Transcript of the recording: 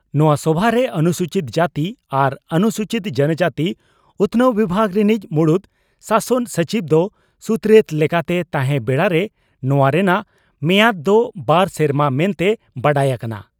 ᱱᱚᱣᱟ ᱥᱚᱵᱷᱟᱨᱮ ᱚᱱᱥᱩᱪᱤᱛ ᱡᱟᱹᱛᱤ ᱟᱨ ᱚᱱᱩᱥᱩᱪᱤᱛ ᱡᱚᱱᱚᱡᱟᱹᱛᱤ ᱩᱛᱷᱱᱟᱹᱣ ᱵᱤᱵᱷᱟᱜᱽ ᱨᱤᱱᱤᱡ ᱢᱩᱬᱩᱛ ᱥᱟᱥᱚᱱ ᱥᱚᱪᱤᱵᱽ ᱫᱚ ᱥᱩᱛᱨᱮᱛ ᱞᱮᱠᱟᱛᱮᱭ ᱛᱟᱦᱮᱸᱱ ᱵᱮᱲᱟᱨᱮ ᱱᱚᱣᱟ ᱨᱮᱱᱟᱜ ᱢᱮᱭᱟᱫᱽ ᱫᱚ ᱵᱟᱨ ᱥᱮᱨᱢᱟ ᱢᱮᱱᱛᱮ ᱵᱟᱰᱟᱭ ᱟᱠᱟᱱᱟ ᱾